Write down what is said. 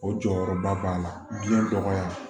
O jɔyɔrɔba b'a la biyɛn dɔgɔya